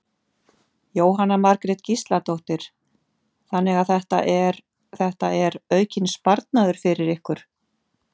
Jóhanna Margrét Gísladóttir: Þannig að þetta er, þetta er aukinn sparnaður fyrir ykkur?